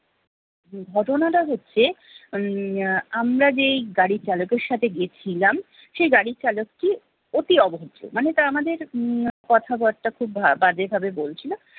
ঘটনাটা হচ্ছে উম আমরা যেই গাড়ি চালকের সাথে গিয়েছিলাম সেই গাড়ি চালকটি অতি অভদ্র মানে তা আমাদের উম কথা বার্তা খুব বাজে ভাবে বলছিলো